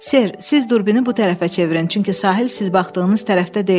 Ser, siz durbini bu tərəfə çevirin, çünki sahil siz baxdığınız tərəfdə deyil.